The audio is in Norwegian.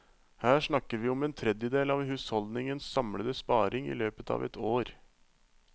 Her snakker vi om en tredjedel av husholdningenes samlede sparing i løpet av et år.